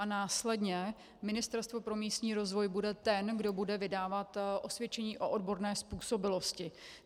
A následně Ministerstvo pro místní rozvoj bude ten, kdo bude vydávat osvědčení o odborné způsobilosti.